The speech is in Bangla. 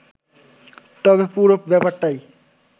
তবে পুরো ব্যাপারটাই